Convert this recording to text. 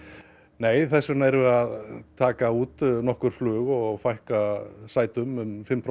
nei þess vegna erum við að taka út nokkur flug og fækka sætum um fimm